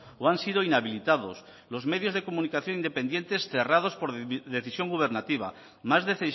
o han sido inhabilitados los medios de comunicación independientes cerrados por decisión gubernativa más de